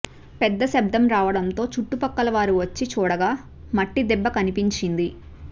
పెద్ద శబ్ధం రావడంతో చుట్టుపక్కల వారు వచ్చి చూడగా మట్టిదిబ్బ కనిపించింది